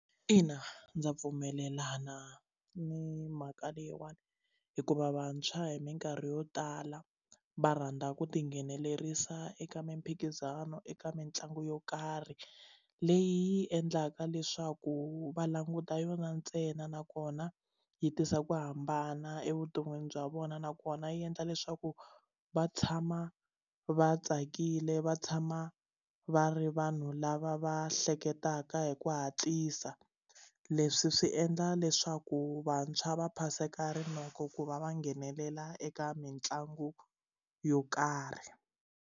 Ina, ndza pfumelelana ni mhaka leyiwani hikuva vantshwa hi minkarhi yo tala va rhandza ku tinghenelerisa eka mimphikizano eka mitlangu yo karhi leyi yi endlaka leswaku va languta yona ntsena nakona yi tisa ku hambana evuton'wini bya vona nakona yi endla leswaku va tshama va tsakile va tshama va ri vanhu lava va hleketaka hi ku hatlisa leswi swi endla leswaku vantshwa va phaseka rinoko ku va va nghenelela eka mitlangu yo karhi.